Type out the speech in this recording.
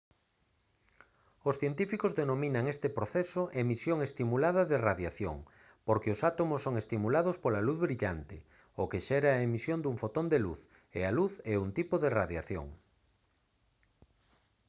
os científicos denominan este proceso emisión estimulada de radiación porque os átomos son estimulados pola luz brillante o que xera a emisión dun fotón de luz e a luz é un tipo de radiación